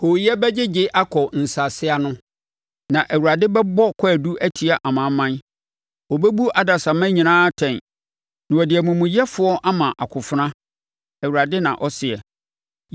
Hooyɛ bɛgyegye akɔ nsase ano, na Awurade bɛbɔ kwaadu atia amanaman; ɔbɛbu adasamma nyinaa atɛn na ɔde amumuyɛfoɔ ama akofena,’ ” Awurade na ɔseɛ.